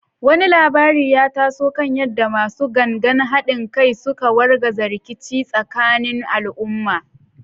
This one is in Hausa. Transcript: Wani labari ya taso kan yadda “Masu Gangan Hadin Kai” suka wargaza rikici tsakanin al’umma.